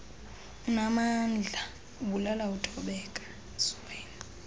unaamandla ubulala uthobeka